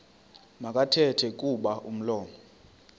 makathethe kuba umlomo